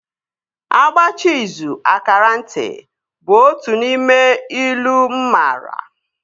A gbachaa izù a kaara nti, is one of the proverbs that I know